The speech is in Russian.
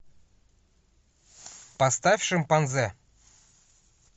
поставь шимпанзе